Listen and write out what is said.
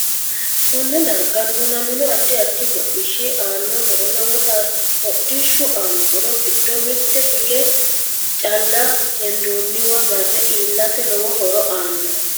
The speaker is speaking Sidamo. KOnne darga duunamino addi addi hodhishi aano horo lowote hodhishu aano horo giddo mitte hige calla hendioniwa mare iilate lowo horo aanno